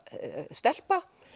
stelpa